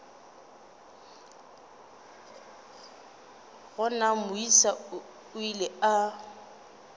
gona moisa o ile a